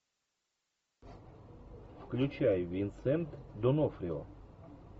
включай винсент д онофрио